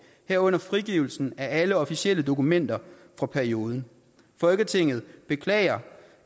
herunder frigivelse af alle officielle dokumenter fra perioden folketinget beklager